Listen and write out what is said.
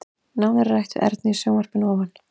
Nánar er rætt við Ernu í sjónvarpinu að ofan.